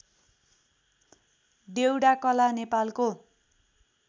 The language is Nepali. डेउडाकला नेपालको